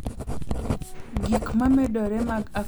Gik ma medore mag akweda e mbui, kata "sand e mbui,"